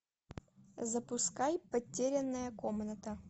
запускай потерянная комната